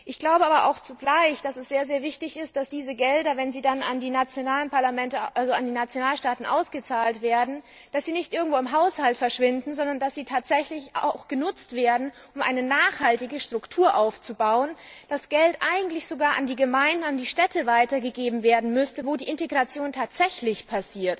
Ich glaube aber zugleich, dass es sehr wichtig ist, dass diese Gelder, wenn sie an die nationalen Parlamente, also an die Nationalstaaten ausgezahlt werden, nicht irgendwo im Haushalt verschwinden, sondern dass sie tatsächlich genutzt werden, um eine nachhaltige Struktur aufzubauen, dass das Geld eigentlich sogar an die Gemeinden und an die Städte weitergegeben werden müsste, wo die Integration tatsächlich stattfindet,